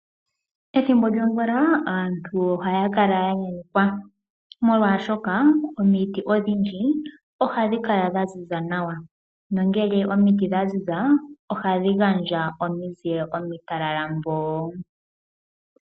Ethimbo lyomvula aantu ohaya kala ya nyanyukwa molwaashoka omiti odhindji ohadhi kala dha ziza nawa na ngele omiti dha ziza, ohadhi gandja ominzile omitalala mboo.